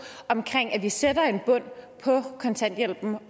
omkring at vi sætter en bund på kontanthjælpen